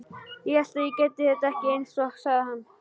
Hélt ég gæti þetta ekki, einsog hann sagði.